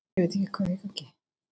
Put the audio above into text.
Er hægt að vera með fallegra hjarta?